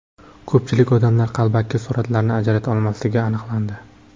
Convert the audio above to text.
Ko‘pchilik odamlar qalbaki suratlarni ajrata olmasligi aniqlandi.